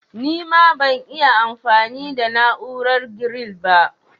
Nima ban'iya anfami da na'urar giril ba